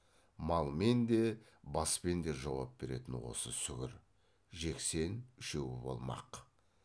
малмен де баспен де жауап беретін осы сүгір жексен үшеуі болмақ